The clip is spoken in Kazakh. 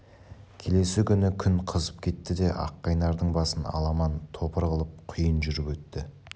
келесі күні күн қызып кетті де аққайнардың басын аламан-топыр қылып құйын жүріп өтті